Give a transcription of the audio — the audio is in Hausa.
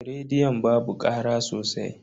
Rediyon babu kara sosai.